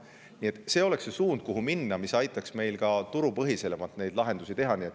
Nii et see oleks suund, kuhu minna, see aitaks meil ka turupõhiselt lahendusi leida.